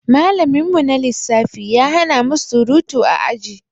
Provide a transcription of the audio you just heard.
Malamin mu na lissafi ya hanamu surutu a aji